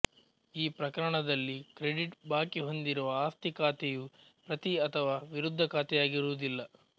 ಈ ಪ್ರಕರಣದಲ್ಲಿ ಕ್ರೆಡಿಟ್ ಬಾಕಿ ಹೊಂದಿರುವ ಆಸ್ತಿ ಖಾತೆಯು ಪ್ರತಿ ಅಥವಾ ವಿರುದ್ದ ಖಾತೆಯಾಗಿರುವುದಿಲ್ಲ